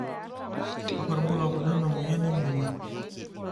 kakua irbulabol le moyian e emonyua?